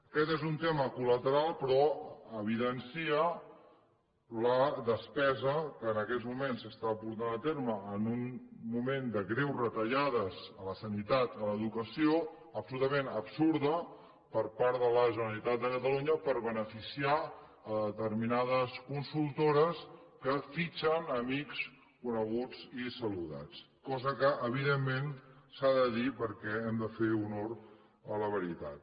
aquest és un tema col·lateral però evidencia la despesa que en aquests moments s’està portant a terme en un moment de greus retallades a la sanitat a l’educació absolutament absurdes per part de la generalitat de catalunya per beneficiar determinades consultores que fitxen amics coneguts i saludats cosa que evidentment s’ha de dir perquè hem de fer honor a la veritat